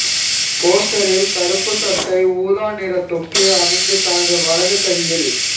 போஸ்டரில் கருப்புச் சட்டை ஊதா நிற தொப்பி அணிந்து தனது வலது கையில்